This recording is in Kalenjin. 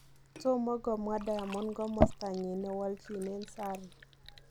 Tomogomwa Diamond gomostonyin newoljinen Zari.